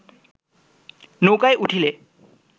নৌকায় উঠিলে